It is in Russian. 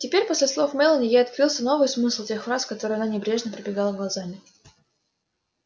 теперь после слов мелани ей открылся новый смысл тех фраз которые она небрежно пробегала глазами